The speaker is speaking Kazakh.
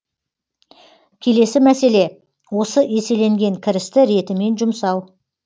келесі мәселе осы еселенген кірісті ретімен жұмсау